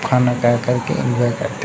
खाना ट्राय करके एन्जॉय करते --